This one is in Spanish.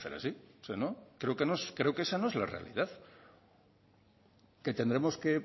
así creo que esa no es la realidad que tendremos que